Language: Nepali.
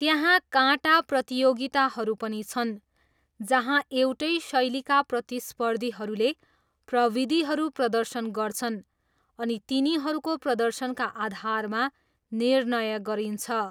त्यहाँ काटा प्रतियोगिताहरू पनि छन्, जहाँ एउटै शैलीका प्रतिस्पर्धीहरूले प्रविधिहरू प्रदर्शन गर्छन् अनि तिनीहरूको प्रदर्शनका आधारमा निर्णय गरिन्छ।